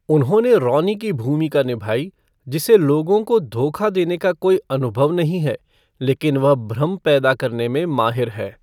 उन्होंने रॉनी की भूमिका निभाई, जिसे लोगों को धोखा देने का कोई अनुभव नहीं है, लेकिन वह भ्रम पैदा करने में माहिर है।